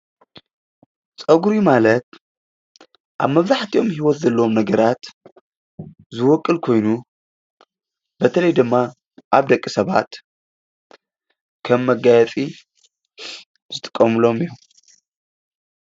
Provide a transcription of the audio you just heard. ፀጉሪ ማለት ኣብ መብዛሕትኦሞ ሂወት ዘለዎም ነገራት ዝቦቁል ኾይኑ በተለይ ድማ ኣብ ደቂ ሰባት ኸም መጋየፂ ዝጥቀሙሎሞ እዩም።